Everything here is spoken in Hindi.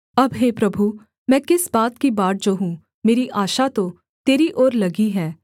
अब हे प्रभु मैं किस बात की बाट जोहूँ मेरी आशा तो तेरी ओर लगी है